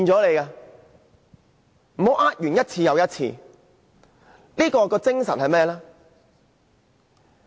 他們不能一次又一次地詐騙市民。